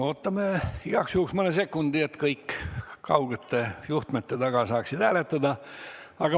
Ootame igaks juhuks mõne sekundi, et kõik kaugete ekraanide taga saaksid hääletada.